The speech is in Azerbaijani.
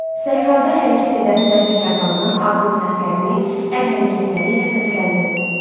Səhrada hərəkət edən dəvə karvanının addım səslərini əl hərəkətləri ilə səsləndirin.